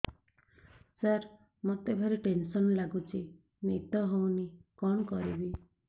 ସାର ମତେ ଭାରି ଟେନ୍ସନ୍ ଲାଗୁଚି ନିଦ ହଉନି କଣ କରିବି